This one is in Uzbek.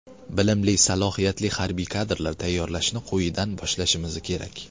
Bilimli, salohiyatli harbiy kadrlar tayyorlashni quyidan boshlashimiz kerak.